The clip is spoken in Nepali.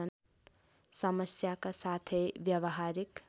समस्याका साथै व्यवहारिक